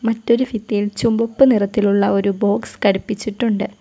മറ്റൊരു ഭിത്തിയിൽ ചുമപ്പ് നിറത്തിലുള്ള ഒരു ബോക്സ് ഘടിപ്പിച്ചിട്ടുണ്ട്.